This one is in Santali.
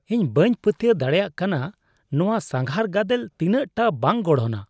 ᱤᱧ ᱵᱟᱹᱧ ᱯᱟᱹᱛᱭᱟᱹᱣ ᱫᱟᱲᱮᱭᱟᱜ ᱠᱟᱱᱟ ᱱᱚᱣᱟ ᱥᱟᱸᱜᱷᱟᱨ ᱜᱟᱫᱮᱞ ᱛᱤᱱᱟᱹᱜᱴᱟ ᱵᱟᱝ ᱜᱚᱲᱦᱚᱱᱟ ᱾